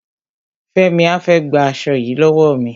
Fẹ́mi á fẹ́ gba aṣo yìí lọ́wọ́ mi.